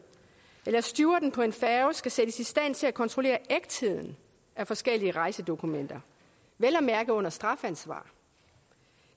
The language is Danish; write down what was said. eller stewarden på en færge skal sættes i stand til at kontrollere ægtheden af forskellige rejsedokumenter vel at mærke under strafansvar